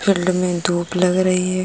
Field में धूप लग रही है।